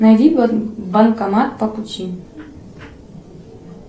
найди банкомат по пути